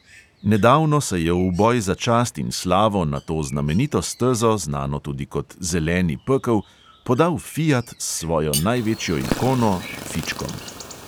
Nedavno se je v boj za čast in slavo na to znamenito stezo, znano tudi kot zeleni pekel, podal fiat s svojo največjo ikono, fičkom.